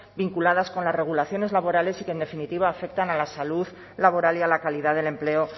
vinculadas con las regulaciones laborales y que en definitiva afectan a la salud laboral y a la calidad del empleo